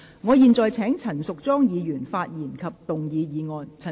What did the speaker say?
我現在請陳淑莊議員發言及動議議案。